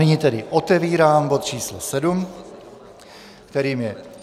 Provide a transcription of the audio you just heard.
Nyní tedy otevírám bod číslo 7, kterým je